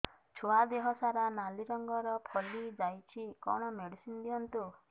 ଛୁଆ ଦେହ ସାରା ନାଲି ରଙ୍ଗର ଫଳି ଯାଇଛି କଣ ମେଡିସିନ ଦିଅନ୍ତୁ